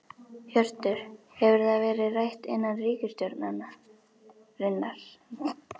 Hjörtur: Hefur það verið rætt innan ríkisstjórnarinnar?